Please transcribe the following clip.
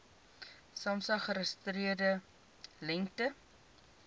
samsa geregistreerde lengte